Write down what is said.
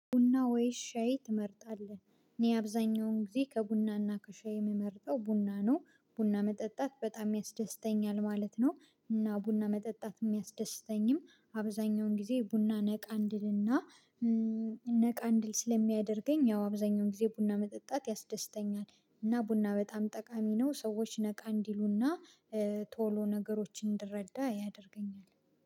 ቡና ወይስ ሻይ ትመርጣለህ? እኔ አብዛኛውን ጊዜ ከቡናና ከሻይ የምመርጠው ቡና ነው ቡና መጠጣት በጣም ያስደስተኛል ማለት ነው። እና ቡና መጠጣት የሚያስደስተኝም አብዛኛውን ጊዜ ቡና ነቃ ስለሚያደርግ። እና ነቃ ስለሚያደርገኝ ያው አብዛኛውን ጊዜ ቡና መጠጣት ያስደስተኛል። እና ቡና በጣም ጠቃሚ ነው ሰዎች ነቃ እንዲሉና ቶሎ ነገሮችን እንድረዳ ያደርገኛል።